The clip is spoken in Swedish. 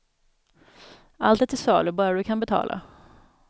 Allt är till salu, bara du kan betala.